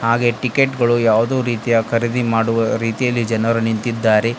ಹಾಗೆ ಟಿಕೆಟ್ ಗಳು ಯಾವುದೋ ರೀತಿಯ ಖರೀದಿ ಮಾಡುವ ರೀತಿಯಲ್ಲಿ ಜನರು ನಿಂತಿದ್ದಾರೆ.